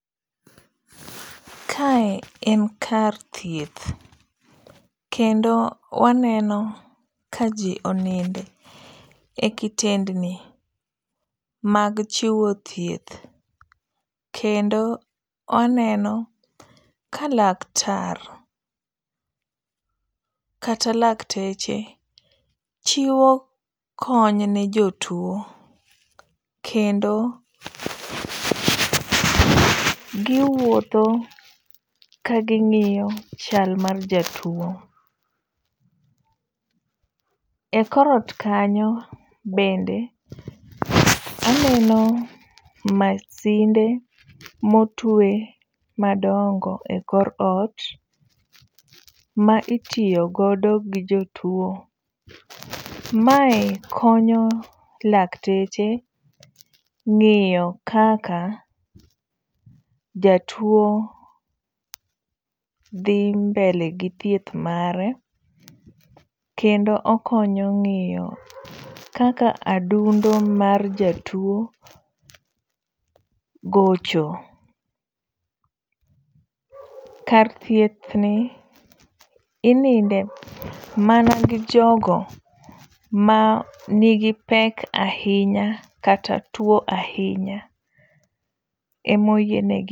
Kae en kar thieth, kendo waneno kaji onindo e kitendni mag chiwo thieth kendo waneno ka laktar kata lakteche chiwo kony ne jatuo kendo giwuotho ka ging'iyo chal mar jotuo. Ekor ot kanyo, bende aneno masinde motwe madongo ekor ot maitiyo godo gi jotuo. Mae konyo lakteche ng'eyo kaka jatuo dhi mbele gi thieth mare kendo okonyo ng'iyo kaka adundo mar jatuo gocho. Kar thiethni, ininde mana gijogo manigi pek ahinya kata tuo ahinya ema oyienegi.